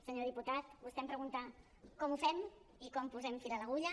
senyor diputat vostè em pregunta com ho fem i com posem fil a l’agulla